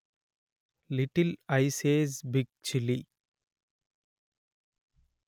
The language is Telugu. little ice age big chilli